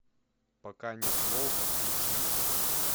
пока нет волка включи